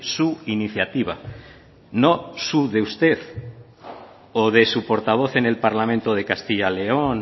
su iniciativa no su de usted o de su portavoz en el parlamento de castilla león